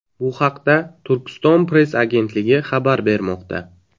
Bu haqda Turkiston-press agentligi xabar bermoqda .